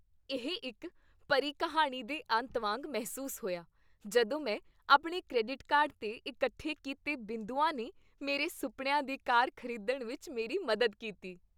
ਇਹ ਇੱਕ ਪਰੀ ਕਹਾਣੀ ਦੇ ਅੰਤ ਵਾਂਗ ਮਹਿਸੂਸ ਹੋਇਆ ਜਦੋਂ ਮੈਂ ਆਪਣੇ ਕ੍ਰੈਡਿਟ ਕਾਰਡ 'ਤੇ ਇਕੱਠੇ ਕੀਤੇ ਬਿੰਦੂਆਂ ਨੇ ਮੇਰੇ ਸੁਪਨਿਆਂ ਦੀ ਕਾਰ ਖ਼ਰੀਦਣ ਵਿੱਚ ਮੇਰੀ ਮਦਦ ਕੀਤੀ।